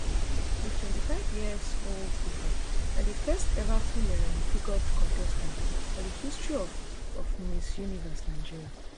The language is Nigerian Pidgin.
di twenty-five yearsold ufa na di first ever full um figured contestant for di history of of miss universe nigeria